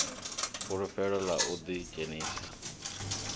fulufhelo ḽa u ḓi dzhenisa